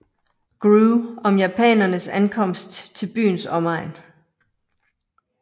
Grew om japanernes ankomst til byens omegn